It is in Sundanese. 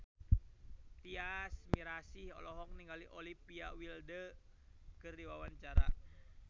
Tyas Mirasih olohok ningali Olivia Wilde keur diwawancara